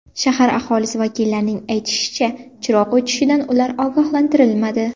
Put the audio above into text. Shahar aholisi vakillarining aytishicha, chiroq o‘chishidan ular ogohlantirilmadi.